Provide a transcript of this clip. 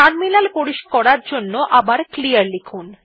terminal পরিষ্কার করার জন্য আবার ক্লিয়ার লিখুন